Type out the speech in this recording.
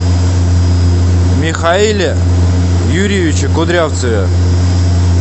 михаиле юрьевиче кудрявцеве